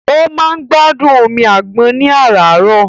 Ó máa ń gbádùn omi àgbọn ní àràárọ̀.